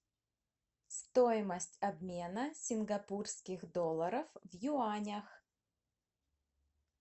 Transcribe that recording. стоимость обмена сингапурских долларов в юанях